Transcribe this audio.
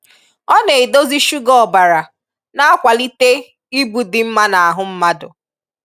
Ọ na-edozi shuga ọbara na-akwalite ibu dị mma na-ahụ mmadụ.